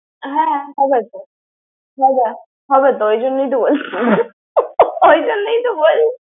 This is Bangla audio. হ্যাঁ, খাবই তো। খাবই তো ওই জন্যই তো বলছি।